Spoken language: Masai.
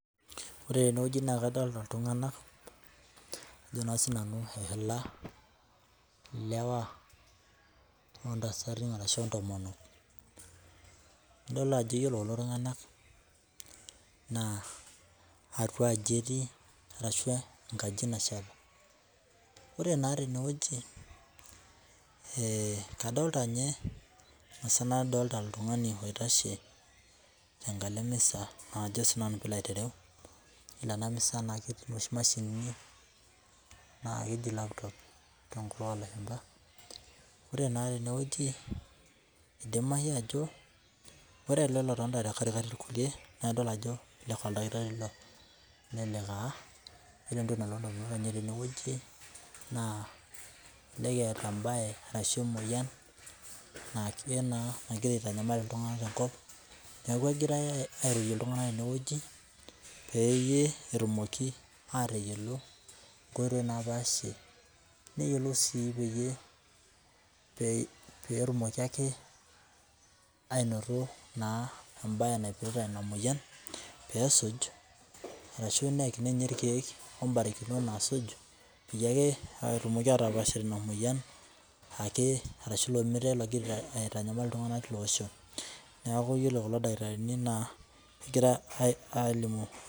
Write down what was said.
Ore teneweji naa kadolita iltungana ajo sii nanu ile ilewa oltasati arashu intomonok. Idol ajo ore kulo tungana atia aji etii ashu ankaji nasheta. Ore naa teneweji kadolita ninye ashu nadolita oltungani oitashe tenkalo emisa ajo sii ilaitereu nena misai ena ketii oshi imashinini naa keji laptop tenkutuk oo lashumpa. Ore naa teneweji idimayu ajo ore ele lotonita te katikati kulie naa ebaki ajo oldakitari ilo. Nelelelk taa kegira ilo dakitari teneweji neeta ebae ashu emoyian naake naa nagira aitanyamal iltungana tenkop, neeku egiraai airorie iltungana teneweji peyie etumoki atayiolo enkoitoi naa paasi neyiolou sii peyie petumoki ake anoto ebae naipirta ina moyian peesuj, arashu eyaki ninye irkeek obarikinot naasuj peyie etumoki atapash inamoyian ashu ilo mitayi logira aitanyamal iltungana lilo asho. Neeku iyiolo kulo dakitarini egira alimu.